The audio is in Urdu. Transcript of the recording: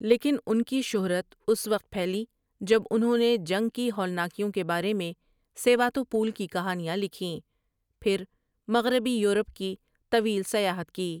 لیکن ان کی شہرت اس وقت پھیلی جب انہوں نے جنگ کی ہولناکیوں کے بارے میں سیواتوپول کی کہانیاں لکھیں پھر مغربی یورپ کی طویل سیاحت کی ۔